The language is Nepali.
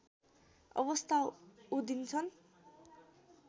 अवस्था उधिन्छन्